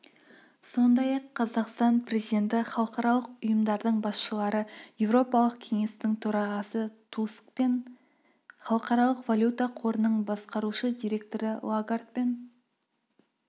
сондай-ақ қазақстан президенті халықаралық ұйымдардың басшылары еуропалық кеңестің төрағасы тускпен халықаралық валюта қорының басқарушы директоры лагардпен